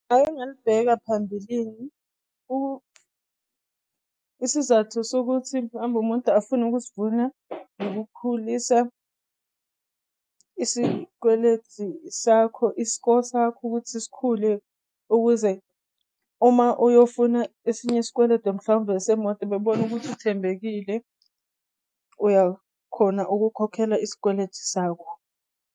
Ngake ngalibheka phambilini. Isizathu sokuthi mhlawumbe umuntu afune ukusivula ukukhulisa isikweletu sakho i-score sakho ukuthi sikhule ukuze uma uyofuna esinye isikweletu mhlawumbe semoto bebone ukuthi uthembekile uyakhona ukukhokhela isikweletu sakho.